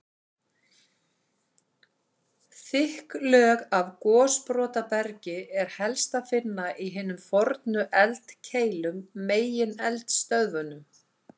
Þykk lög af gosbrotabergi er helst að finna í hinum fornu eldkeilum, megineldstöðvunum.